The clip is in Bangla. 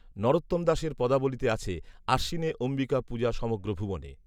নরোত্তম দাসের পদাবলিতে আছে, আশ্বিনে অম্বিকা পূজা সমগ্র ভুবনে